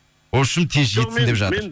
вообщем тез жетсін деп жатыр